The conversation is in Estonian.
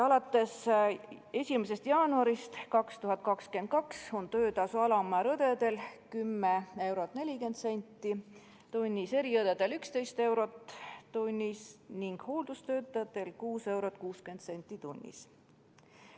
Alates 1. jaanuarist 2022 on töötasu alammäär õdedel 10 eurot 40 senti tunnis, eriõdedel 11 eurot tunnis ning hooldustöötajatel 6 eurot 60 senti tunnis.